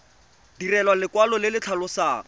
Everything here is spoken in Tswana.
direlwa lekwalo le le tlhalosang